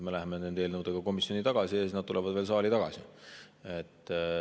Me läheme nende eelnõudega komisjoni ja siis nad tulevad veel saali tagasi.